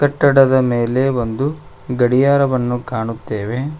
ಕಟ್ಟಡದ ಮೇಲೆ ಒಂದು ಗಡಿಯಾರವನ್ನು ಕಾಣುತ್ತೆವೆ.